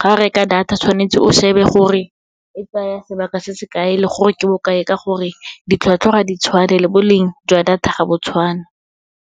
ga o reka data tshwanetse o shebe gore, e tsaya sebaka se se kae le gore ke bokae, ka gore ditlhwatlhwa ga di tshwane, le boleng jwa data ga bo tshwane.